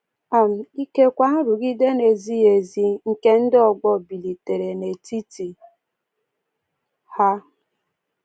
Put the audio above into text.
um Ikekwe, nrụgide na-ezighị ezi nke ndị ọgbọ bilitere n’etiti ha.